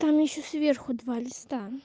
там ещё сверху два листа